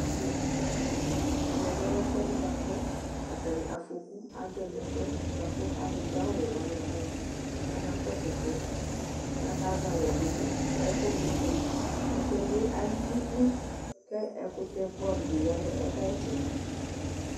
Ɛmɛ bi lɛ bʋakʋ afɔku adzɔ nʋ ɛfʋɛ bʋakʋ alʋdʋ awʋwɛ wani abaya kʋ akaksʋ ɛfʋɛ kʋ akazɛ alɛdʋ nʋ ɛkʋ ma ifɔli ɛfʋɛ bi alili kʋ ɛkʋtɛ bʋɛamʋ di yanʋ ɛkʋ yɛ ayʋ itsɛdi